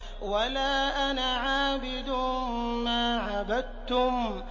وَلَا أَنَا عَابِدٌ مَّا عَبَدتُّمْ